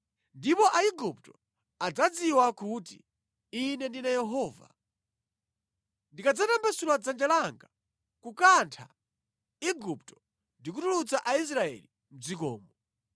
Ndipo Aigupto adzadziwa kuti Ine ndine Yehova, ndikadzatambasula dzanja langa kukantha Igupto ndi kutulutsa Aisraeli mʼdzikomo.”